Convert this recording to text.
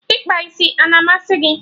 Ịkpa isi a-na amasị gị?